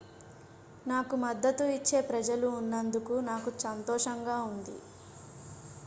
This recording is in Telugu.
నాకు మద్దతు ఇచ్చే ప్రజలు ఉన్నందకు నాకు సంతోషంగా ఉంది